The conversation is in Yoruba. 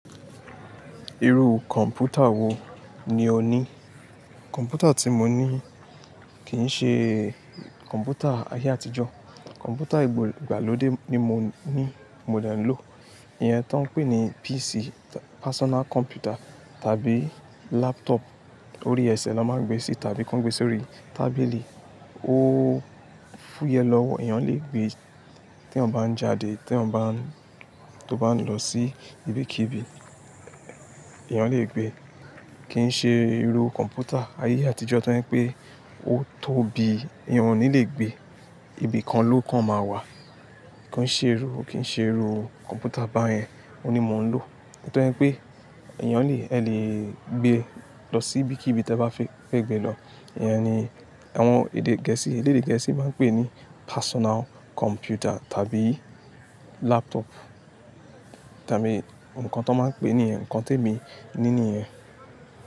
Irú kọ̀npútà wo ni o ní? Kọ̀mpútà tí mo ní kì í ṣe kọ̀mpútà ayé àtijọ́. Kọ̀mpútà ìgbàlódé ni mo ní, mo de ń lò. Ìyẹn tó ń pè ní PC, personal computer tàbí laptop. Orí ẹsẹ̀ ló máa ń gbé sí tàbí kí wọ́n gbé sí orí tábìlì. Ó fúyẹ́ lọ́wọ́, èèyàn lè gbe tí èèyàn bá ń jáde, tí èèyàn bá ń, tó bá ń lọ sí ibikíbi, èèyàn lè gbé. Kì í ṣe irú kọ̀mpútà ayé àtijọ́ tó ń pè ó tóbi, èèyàn ò ní lè gbé. Ibi kan ló kàn máa wà. Kì í ṣe irú, kì í ṣe irú kọ̀mpútà báyẹn ni mo ń lò. Nítorí pé èèyàn lè, ẹ lè gbé lọ sí ibikíbi tí ẹ bá fẹ́ gbé lọ. Ìyẹn ni àwọn èdè gẹ̀ẹ́sì, èlèdè gẹ̀ẹ́sì máa ń pè ní personal computer tàbí laptop tàbí ǹkan tó máa ń pè ní ǹkan te mi ní níyen.